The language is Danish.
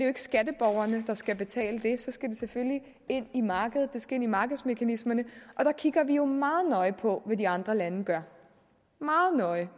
ikke skatteborgerne der skal betale det så skal det selvfølgelig ind i markedet det skal ind i markedsmekanismerne og der kigger vi jo meget nøje på hvad de andre lande gør meget nøje